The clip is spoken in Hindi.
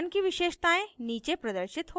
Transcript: pattern की विशेषतायें नीचे प्रदर्शित होती हैं